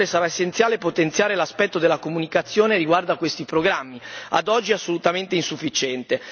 Inoltre sarà essenziale potenziare l'aspetto della comunicazione riguardo a questi programmi, che è ad oggi assolutamente insufficiente.